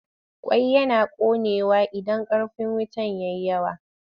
Ƙwai yana ƙonewa idan ƙarfin wuta ya yi yawa.